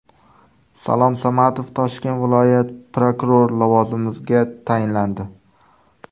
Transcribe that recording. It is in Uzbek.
Salom Samadov Toshkent viloyat prokurori lavozimiga tayinlandi.